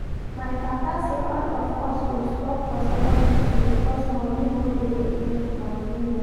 My papa say all of us go stop for secondary school because money no dey again to continue